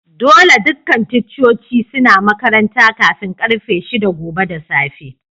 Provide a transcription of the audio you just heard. Dolle dukan ticcoci suna makaranta kafin karfe shida gobe da safe.